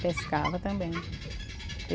Pescava também.